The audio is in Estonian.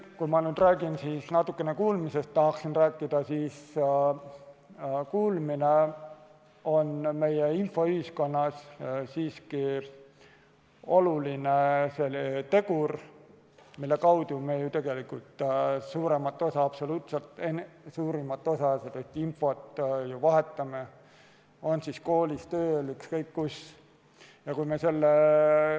Kui ma nüüd räägin natuke kuulmisest, siis kuulmine on meie infoühiskonnas siiski oluline tegur, mille kaudu me ju tegelikult vahetame absoluutselt suurimat osa infost, on see siis koolis, tööl, ükskõik kus.